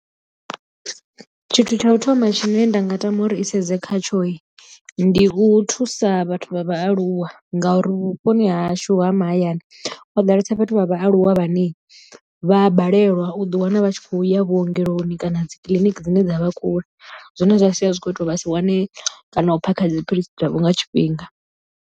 Tshithu tsha u thoma tshine nda nga tama uri i sedze khatsho ndi u thusa vhathu vha vhaaluwa ngauri vhuponi hashu ha mahayani ho ḓalesa vhathu vha vha aluwa vhane vha balelwa u ḓi wana vha tshi kho ya vhuongeloni kana dzi kiḽiniki dzine dza vha kule zwine zwa sia zwi kho ita uri vha si wane kana u phakha dziphilisi dzavho nga tshifhinga.